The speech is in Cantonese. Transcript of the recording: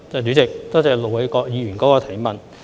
主席，多謝盧偉國議員的補充質詢。